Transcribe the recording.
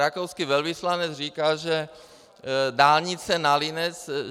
Rakouský velvyslanec říká, že dálnice na Linec...